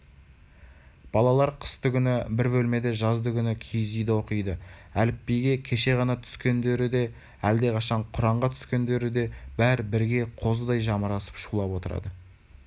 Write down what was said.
балалар қыстыгүні бір бөлмеде жаздыгүні киіз үйде оқиды әліпбиге кеше ғана түскендері де әлдеқашан құранға түскендері де бәрі бірге қозыдай жамырасып шулап отырады